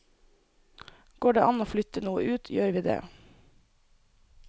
Går det an å flytte noe ut, gjør vi det.